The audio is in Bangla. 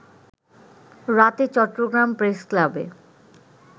রাতে চট্টগ্রাম প্রেসক্লাবে